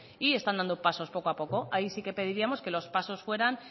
y están dando pasos poco a poco ahí sí que pediríamos que los pasos fueran